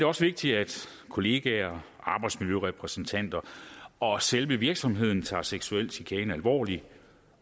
også vigtigt at kollegaer arbejdsmiljørepræsentanter og selve virksomheden tager seksuel chikane alvorligt